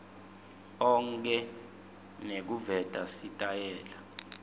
onkhe nekuveta sitayela